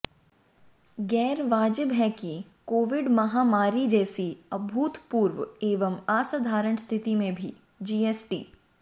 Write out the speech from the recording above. गैरवाजिब है कि कोविड महामारी जैसी अभूतपूर्व एवं असाधारण स्थिति में भी जीएसटी